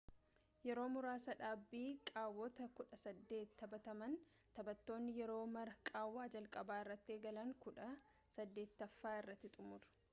yeroo marsaa dhaabbii qaawwota kudha saddeet taphataman taphattoonni yeroo mara qaawwa jalqabaa irraa eegalanii kudha saddeetaffa irratti xumuru